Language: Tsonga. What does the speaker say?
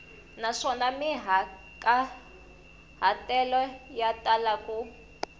naswona mahikahatelo ya tala ku